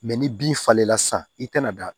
ni bin falenna sa i kana da